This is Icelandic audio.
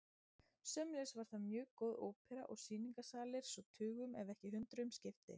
Sömuleiðis var þar mjög góð ópera og sýningarsalir svo tugum ef ekki hundruðum skipti.